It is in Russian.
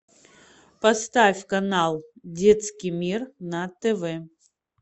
поставь канал детский мир на тв